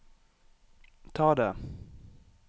ta det